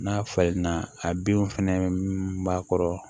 N'a falenna a binw fɛnɛ b'a kɔrɔ